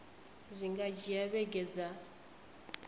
zwi nga dzhia vhege dza